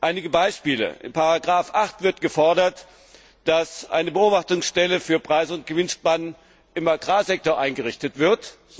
Einige Beispiele In Ziffer 8 wird gefordert, dass eine Beobachtungsstelle für Preis und Gewinnspannen im Agrarsektor eingerichtet wird.